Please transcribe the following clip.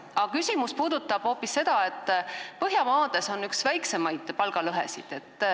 Aga küsimus puudutab hoopis seda, et Põhjamaades on üks väiksemaid palgalõhesid.